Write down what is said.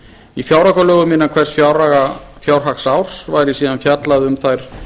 í fjáraukalögum innan hvers fjárhagsárs væri síðan fjallað um þær